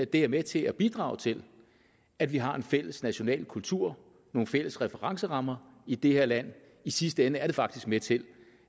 det er med til at bidrage til at vi har en fælles national kultur nogle fælles referencerammer i det her land i sidste ende er det faktisk med til